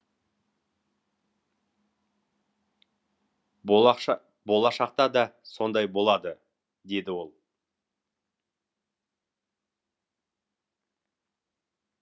болашақта да сондай болады деді ол